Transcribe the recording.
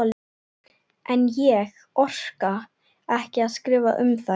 En ég orka ekki að skrifa um þær.